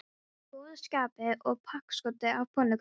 Hún var í góðu skapi og pakksödd af pönnukökum.